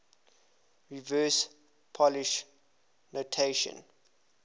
reverse polish notation